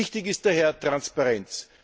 Wichtig ist daher Transparenz.